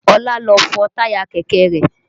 Ọlá lọ fọn táyà kẹ̀kẹ́ rẹ̀